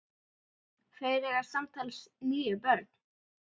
Þeir eiga samtals níu börn.